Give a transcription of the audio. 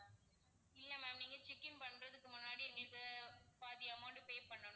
இல்ல ma'am நீங்க check in பண்றதுக்கு முன்னாடி எங்களுக்கு பாதி amount pay பண்ணணும்.